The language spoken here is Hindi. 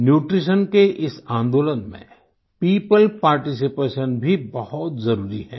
न्यूट्रीशन के इस आन्दोलन में पियोपल पार्टिसिपेशन भी बहुत जरुरी है